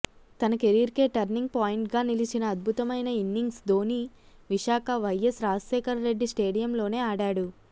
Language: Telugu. తన కెరీర్కే టర్నింగ్ పాయింట్గా నిలిచిన అద్భుతమైన ఇన్నింగ్స్ ధోనీ విశాఖ వైయస్ రాజేశేఖర్ రెడ్డి స్టేడియంలోనే ఆడాడు